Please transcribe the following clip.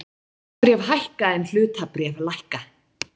Skuldabréf hækka en hlutabréf lækka